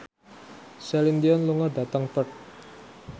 Celine Dion lunga dhateng Perth